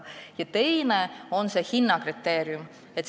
Ja teine küsimus on hinnakriteeriumis.